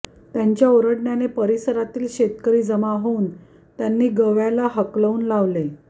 त्यांच्या ओरडण्याने परीसरातील शेतकरी जमा होऊन त्यांनी गव्याला हाकलून लावले